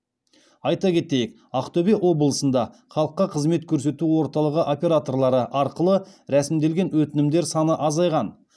айта кетейік ақтөбе облысында халыққа қызмет көрсету орталығы операторлары арқылы рәсімделген өтінімдер саны азайған